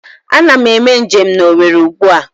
Ana m eme njem na Owerri ugbua